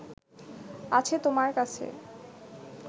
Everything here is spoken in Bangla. আছে তোমার কাছে